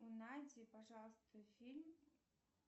найди пожалуйста фильм